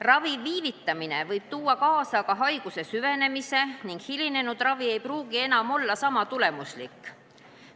Ravi viivitamine võib aga tuua kaasa haiguse süvenemise ning hilinenud ravi ei pruugi enam olla sama tulemuslik.